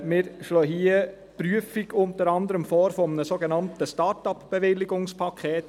Wir schlagen hier unter anderem die Prüfung eines sogenannten Start-upBewilligungspakets vor.